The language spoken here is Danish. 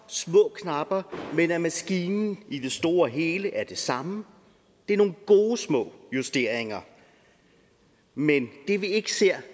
små knapper men at maskinen i det store og hele er den samme det er nogle gode små justeringer men det vi ikke ser